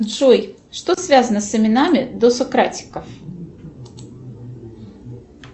джой что связано с именами досократиков